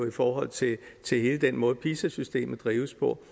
i forhold til til hele den måde pisa systemet drives på